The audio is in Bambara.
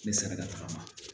Ne sera ka tagama